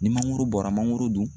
Ni mangoro bɔra mangoro dun